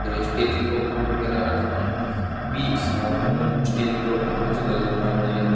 stage programme वगैरा राखां नी बी हिसाब ऊं स्टेज प्रोग्राम है जीका गै ऊपर आपने --